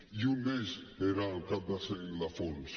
i un d’ells era el cap de sant ildefons